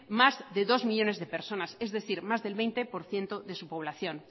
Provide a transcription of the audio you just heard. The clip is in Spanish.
más de dos millónes de personas es decir más del veinte por ciento de su población